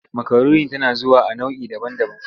Makaroni tana zuwa a nau'i daban-daban.